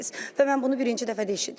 Və mən bunu birinci dəfə də eşidirəm.